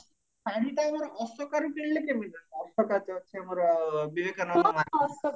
ଶାଢୀଟା ଆମର ଅଶୋକାରୁ କିଣିଲେ କେମତି ହବ ଅଶୋକା ତ ଅଛି ଆମର ବିବେକାନନ୍ଦ market